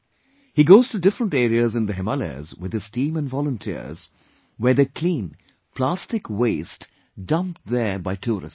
He goes to different areas in the Himalayas with his team and volunteers where they clean plastic waste dumped there by tourists